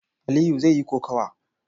Aliyu zai yi kokawa.